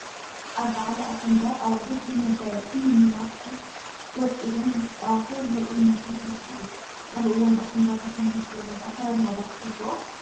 ኣብ በዓል ኣሸንዳ ኣዋልድ ብመጋየፅን መመላኽዕ ወቂበን እንትፃወታ ዘርኢ ምርኢት ባህሊ እዩ፡፡ ኣብ እዋን ኣሸንዳ ብኸምዚ ዝበለ ኣካዳድና ዶ ተሕልፎኦ?